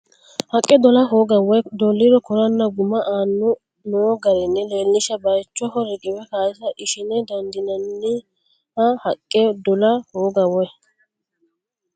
Haqqe dola hooga woy dolliro koranna guma aane noo garinni leellishsha bayichoho riqiwe kaasa ishine dandiinanni Haqqe dola hooga woy.